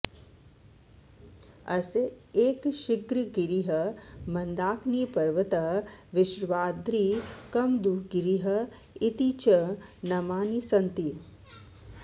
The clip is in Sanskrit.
अस्य एकशृङ्गगिरिः मन्दाकिनीपर्वतः वृषभाद्रिः कमदूगिरिः इति च नामानि सन्ति